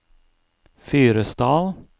Fyresdal